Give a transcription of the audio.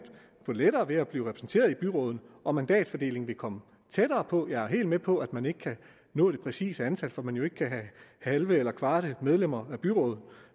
få lettere ved at blive repræsenteret i byrådene og mandatfordelingen ville komme tættere på jeg er helt med på at man ikke kan nå det præcise antal fordi man jo ikke kan have halve eller kvarte medlemmer af byråd